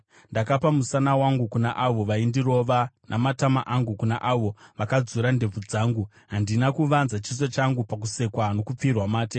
Ndakapa musana wangu kuna avo vaindirova, namatama angu kuna avo vakadzura ndebvu dzangu; Handina kuvanza chiso changu pakusekwa nokupfirwa mate.